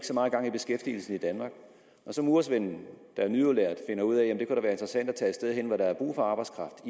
så meget gang i beskæftigelsen i danmark murersvenden der er nyudlært finder ud af at det kunne være interessant at tage et sted hen hvor der er brug for arbejdskraft